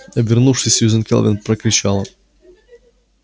обернувшись сьюзен кэлвин прокричала